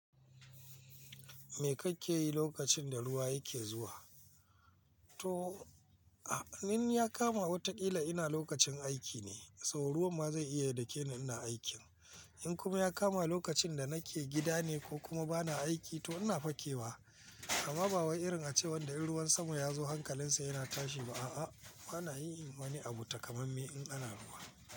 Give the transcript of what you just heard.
Me kake yi lokacin da ruwa yake zuwa? To, in ya kama wataƙila ina lokacin aiki ne, so ruwan ma zai iya dakeni ina aikin. In kuma ya kama lokacin da nake gida ne ko kuma bana aiki to ina fakewa amma ba wai irin ace wanda in ruwan sama ya zo hankalinsa yana tashi ba a'a. Bana yi wani abu takamamme in ana ruwa.